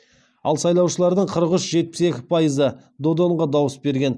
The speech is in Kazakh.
ал сайлаушылардың қырық үш жетпіс екі пайызы додонға дауыс берген